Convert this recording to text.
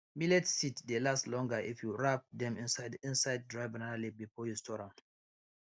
millet seeds dey last longer if you wrap dem inside inside dry banana leaf before you store am